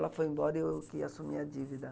Ela foi embora e eu que assumi a dívida.